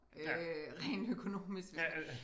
Øh rent økonomisk hvis